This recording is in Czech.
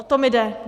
O to mi jde.